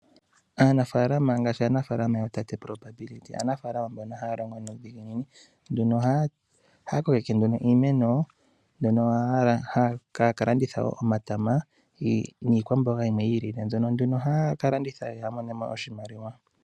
Aanafaalama ngaashi aanafaalama yootate probability, aanafaalama mbono haya longo nuudhiginini . Ohaya kokeke nduno iimeno mbyono haya ka landitha omatama giili niikwamboga yimwe yiilile , mbyono nduno haya ka landitha yamonemo iimaliwa.